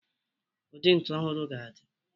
Ụdị ntu ọhụrụ ga-adị.